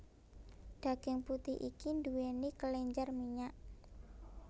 Daging putih iki nduweni kelenjar minyak